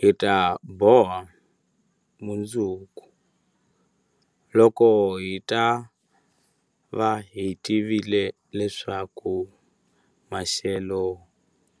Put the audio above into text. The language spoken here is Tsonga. Hi ta boha mundzuku, loko hi ta va hi tivile leswaku maxelo